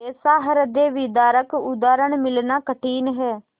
ऐसा हृदयविदारक उदाहरण मिलना कठिन है